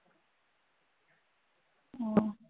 ও